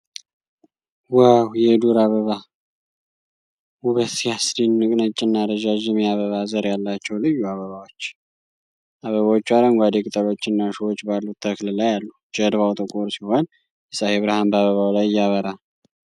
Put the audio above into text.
ዋው! የዱር አበባ ውበት ሲያስደንቅ! ነጭና ረዣዥም የአበባ ዘር ያላቸው ልዩ አበባዎች !!። አበቦቹ አረንጓዴ ቅጠሎችና እሾሆች ባሉት ተክል ላይ አሉ። ጀርባው ጥቁር ሲሆን የፀሐይ ብርሃን በአበባው ላይ ያበራል።